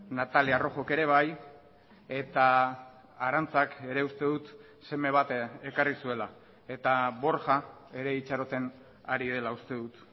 natalia rojok ere bai eta arantxak ere uste dut seme bat ekarri zuela eta borja ere itxaroten ari dela uste dut